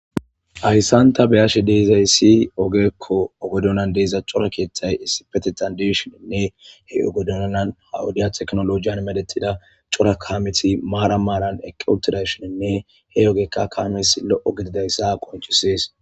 Ayssanta beyashe deezay si ogekko ogodonan deeza cora keeththay issipetetandishoninne he ogodonan hawudiya teknolojiyan medetida cora kaameti maara maaran equtidashoninne he ogekka kaames lo'o gididayssa qoncisees.